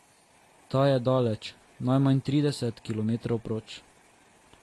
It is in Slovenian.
Ta je daleč, najmanj trideset kilometrov proč.